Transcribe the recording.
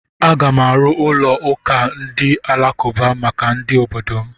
Aga m arụ ụlọ ụka ndị alakụba maka ndị obodo m.